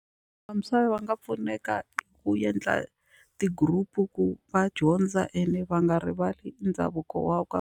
Vantshwa va nga pfuneka hi ku endla ti-group ku va dyondza ene va nga rivali ndhavuko wa ka.